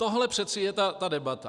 Tohle přece je ta debata.